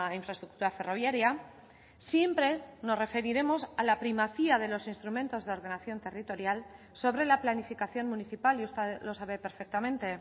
infraestructura ferroviaria siempre nos referiremos a la primacía de los instrumentos de ordenación territorial sobre la planificación municipal y usted lo sabe perfectamente